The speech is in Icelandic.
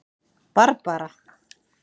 Barbara